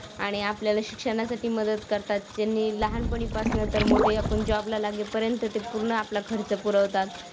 आणि आपल्याला शिक्षणासाठी मदत करतात ज्यांनी लहानपणी पासनं तर मोठे आपण जॉबला लगेपर्यंत ते पूर्ण आपला खर्च पुरवतात.